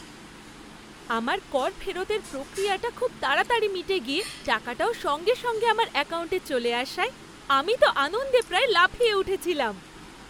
আমার কর ফেরতের প্রক্রিয়াটা খুব তাড়াতাড়ি মিটে গিয়ে টাকাটাও সঙ্গে সঙ্গে আমার অ্যাকাউন্টে চলে আসায় আমি তো আনন্দে প্রায় লাফিয়ে উঠেছিলাম।